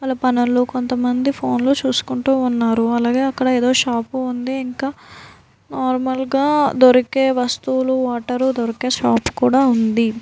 వాళ్ళ పనుల్లో కొంతమంది ఫోన్ లో చూసుకుంటూ ఉన్నారు. అలాగే అక్కడ ఏదో షాపు ఉంది. ఇంకా నార్మల్ గా దొరికే వస్తువులు వాటరు దొరికే షాపు కూడా ఉంది.